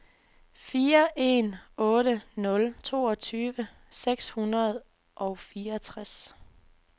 fire en otte nul toogtyve seks hundrede og fireogtres